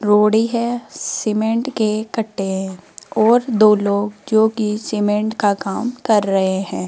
रोडी है सिमेंट के कट्टे हैं और दो लोग जो की सिमेंट का काम कर रहे हैं।